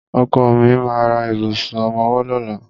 Ọkọ mi ma ra ìbùsùn ọmọwọ́ lọ́la.